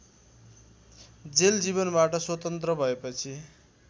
jail जीवनबाट स्वतन्त्र भएपछि